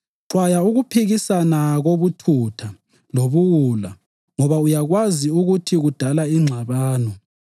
Xwaya ukuphikisana kobuthutha lobuwula ngoba uyakwazi ukuthi kudala ingxabano.